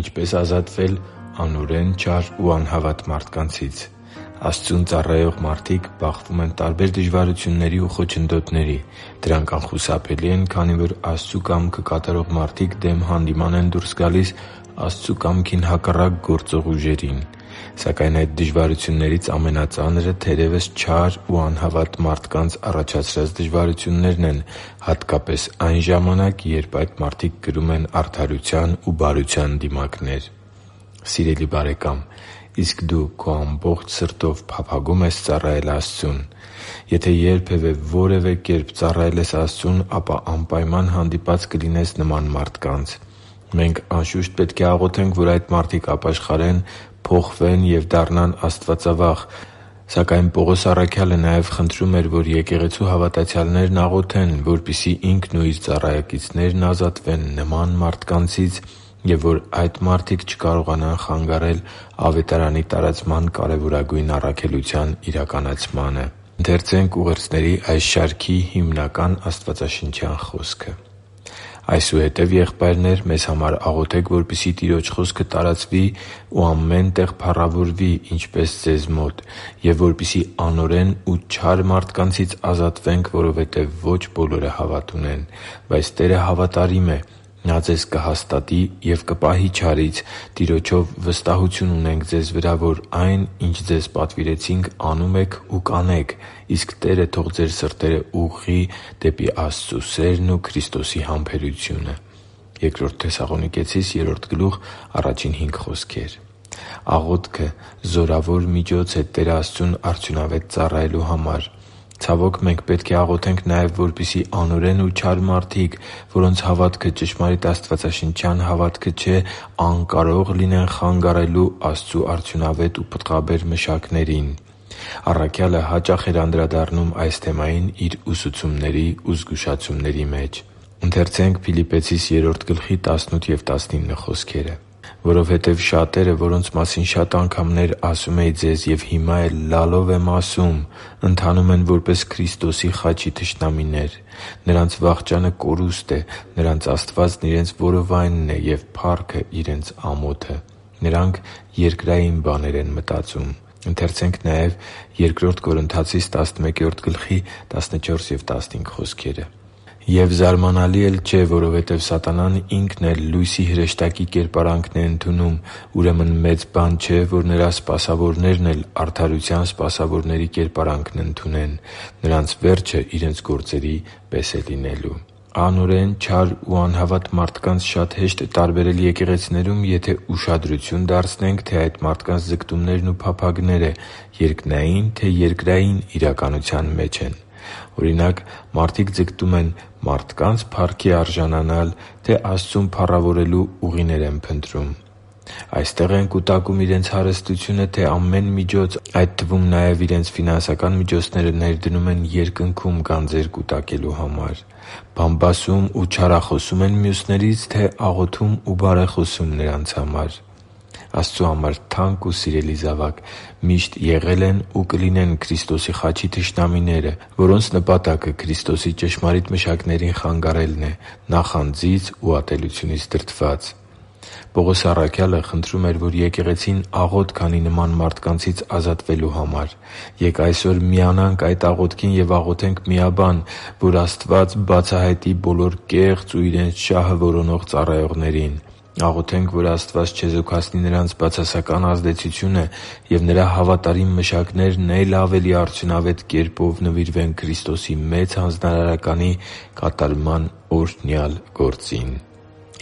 Ինչպե՞ս ազատվել անօրեն, չար ու անհավատ մարդկանցից Աստծուն ծառայող մարդիկ բախվում են տարբեր դժվարությունների ու խոչընդոտների։ Դրանք անխուսափելի են, քանի որ Աստծու կամքը կատարող մարդիկ դեմ հանդիման են դուրս գալիս Աստծու կամքին հակառակ գործող ուժերին։ Սակայն այդ դժվարություններից ամենածանրը, թերևս, չար ու անհավատ մարդկանց առաջացրած դժվարություններն են, հատկապես այն ժամանակ, երբ այդ մարդիկ կրում են արդարության ու բարության դիմակներ։ Սիրելի՛ բարեկամ, իսկ դու քո ամբողջ սրտով փափագո՞ւմ ես ծառայել Աստծուն։ Եթե երբևէ որևէ կերպ ծառայել ես Տեր Աստծուն, ապա անպայման հանդիպած կլինես նման մարդկանց։ Մենք, անշուշտ, պետք է աղոթենք, որ այդ մարդիկ ապաշխարեն, փոխվեն և դառնան աստվածավախ։ Սակայն Պողոս առաքյալը նաև խնդրում էր, որ եկեղեցու հավատացյալներն աղոթեն, որպեսզի ինքն ու իր ծառայակիցներն ազատվեն նման մարդկանցից և որ այդ մարդիկ չկարողանան խանգարել Ավետարանի տարածման կարևորագույն առաքելության իրականացմանը։ «Այսուհետև, եղբայրնե՛ր, մեզ համար աղոթե՛ք, որպեսզի Տիրոջ խոսքը տարածվի ու ամեն տեղ փառավորվի, ինչպես ձեզ մոտ, և որպեսզի անօրեն ու չար մարդկանցից ազատվենք, որովհետև ոչ բոլորը հավատ ունեն։ Բայց Տերը հավատարիմ է. Նա ձեզ կհաստատի և կպահի չարից։ Տիրոջով վստահություն ունենք ձեզ վրա, որ այն, ինչ ձեզ պատվիրեցինք, անում եք ու կանեք։ Իսկ Տերը թող ձեր սրտերը ուղղի դեպի Աստծու սերն ու Քրիստոսի համբերությունը» (Բ Թեսաղոնիկեցիս 3.1-5)։ Աղոթքը զորավոր միջոց է Տեր Աստծուն արդյունավետ ծառայելու համար։ Ցավոք, մենք պետք է աղոթենք նաև, որպեսզի անօրեն ու չար մարդիկ, որոնց հավատքը ճշմարիտ աստվածաշնչյան հավատքը չէ, անկարող լինեն խանգարելու Աստծու արդյունավետ ու պտղաբեր մշակներին։ Առաքյալը հաճախ էր անդրադառնում այս թեմային իր ուսուցումների ու զգուշացումների մեջ։ «Որովհետև շատերը, որոնց մասին շատ անգամներ ասում էի ձեզ և հիմա էլ լալով եմ ասում, ընթանում են որպես Քրիստոսի խաչի թշնամիներ։ Նրանց վախճանը կորուստ է։ Նրանց Աստվածն իրենց որովայնն է, և փառքը՝ իրենց ամոթը. նրանք երկրային բաներն են մտածում» (Փիլիպպեցիս 3․18-19): «Եվ զարմանալի էլ չէ, որովհետև սատանան ինքն էլ լույսի հրեշտակի կերպարանքն է ընդունում։ Ուրեմն մեծ բան չէ, որ նրա սպասավորներն էլ արդարության սպասավորների կերպարանքն ընդունեն։ Նրանց վերջը իրենց գործերի պես է լինելու» (Բ Կորնթացիս 11․14-15): Անօրեն, չար ու անհավատ մարդկանց շատ հեշտ է տարբերել եկեղեցիներում, եթե ուշադրություն դարձնենք, թե այդ մարդկանց ձգտումներն ու փափագները երկնայի՞ն, թե՞ երկրային իրականության մեջ են։ Օրինակ՝ մարդիկ ձգտում են մարդկանցի՞ց փառքի արժանանալ, թե՞ Աստծուն փառավորելու ուղիներ են փնտրում։ Այստե՞ղ են կուտակում իրենց հարստությունը, թե՞ ամեն միջոց, այդ թվում՝ նաև իրենց ֆինանսական միջոցները, ներդնում են Երկնքում գանձեր կուտակելու համար։ Բամբասում ու չարախոսո՞ւմ են մյուսներից, թե՞ աղոթում ու բարեխոսում նրանց համար։ Աստծու համար թանկ ու սիրելի՛ զավակ, միշտ եղել են ու կլինեն Քրիստոսի խաչի թշնամիները, որոնց նպատակը Քրիստոսի ճշմարիտ մշակներին խանգարելն է՝ նախանձից ու ատելությունից դրդված։ Պողոս առաքյալը խնդրում էր, որ եկեղեցին աղոթք անի նման մարդկանցից ազատվելու համար։ Ե՛կ այսօր միանանք այդ աղոթքին և աղոթենք միաբան, որ Աստված բացահայտի բոլոր կեղծ ու իրենց շահը որոնող ծառայողներին։ Աղոթենք, որ Աստված չեզոքացնի նրանց բացասական ազդեցությունը, և Նրա հավատարիմ մշակներն է՛լ ավելի արդյունավետ կերպով նվիրվեն Քրիստոսի Մեծ Հանձնարարականի կատարման օրհնյալ գործին։